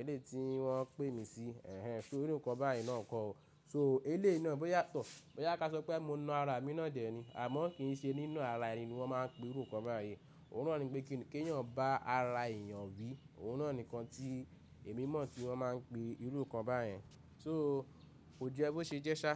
elé tí wọ́n pè mí sí. Ẹ̀hẹn, so irú nǹkan báyìí náà nǹkan o. So elé náà bóyá tọ̀, bóyá kí a sọ pé mo na ara mi náà dẹ̀ ni, àmọ́ kí n ṣe nínú ara ẹni ni wọ́n máa ń pe irú nǹkan báyìí. Òun náà ni pé kí ènìyàn bá ara èèyàn wí, òun náà nìkan tí èmi mọ̀ tí wọ́n máa ń pe irú nǹkan báyìí, so ojú ẹ bó ṣe jẹ́ ṣá.